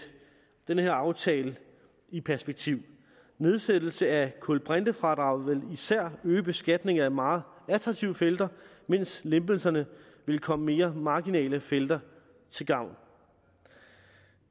den her aftale i perspektiv nedsættelse af kulbrintefradraget vil især øge beskatningen af meget attraktive felter mens lempelserne vil komme mere marginale felter til gavn